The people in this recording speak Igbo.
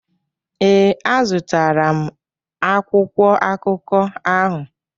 Ee, a zụtara m akwụkwọ akụkọ ahụ.